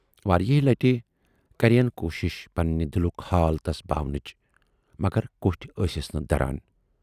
واریاہہِ لٹہِ کَرییَن کوٗشِش پَننہٕ دِلُک حال تَس باونٕچ، مگر کوٹھۍ ٲسِس نہٕ دَران۔